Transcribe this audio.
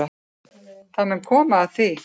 Það mun koma að því.